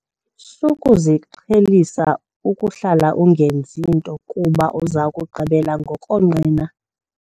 Sukuziqhelisa ukuhlala ungenzi nto kuba uza kugqibela ngokonqena.